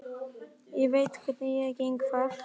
Ég veit að hverju ég geng þar.